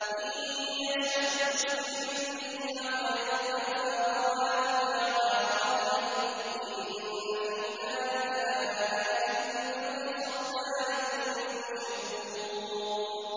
إِن يَشَأْ يُسْكِنِ الرِّيحَ فَيَظْلَلْنَ رَوَاكِدَ عَلَىٰ ظَهْرِهِ ۚ إِنَّ فِي ذَٰلِكَ لَآيَاتٍ لِّكُلِّ صَبَّارٍ شَكُورٍ